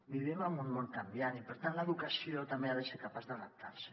vivim en un món canviant i per tant l’educació també ha de ser capaç d’adaptar s’hi